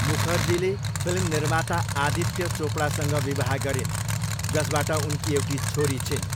मुखर्जीले फिल्म निर्माता आदित्य चोपडासँग विवाह गरिन्, जसबाट उनकी एउटी छोरी छिन्।